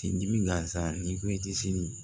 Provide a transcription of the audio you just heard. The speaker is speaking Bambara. Sen dimi gansan n'i ko i tɛ se